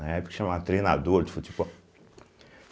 Na época chamava treinador de futebol.